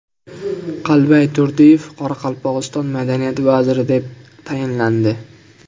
Qalbay Turdiyev Qoraqalpog‘iston madaniyat vaziri etib tayinlandi.